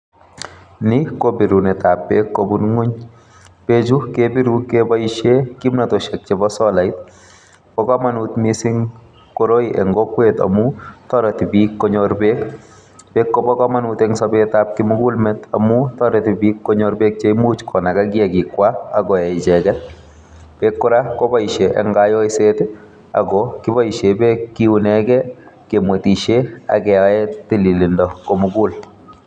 Ni ko birunet ap peek kobun ng'wuny. Peechu kebiru keboisie kimnatosiek chebo solait. Pa komonut miising' koroi eng' kokwet amu toreti piik konyor peek , peek kobo komonut eng' sabeet ap kimugulmet amu toreti biik konyor peek cheimuch konaga kiagiik kwa akoee icheget. peek kora koboisie eng' kayoiseet akokiboisie peek kiunegei, kemwetisie ak keyae tililindo komugul.